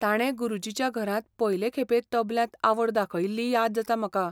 ताणें गुरुजीच्या घरांत पयले खेपें तबल्यांत आवड दाखयिल्ली याद जाता म्हाका.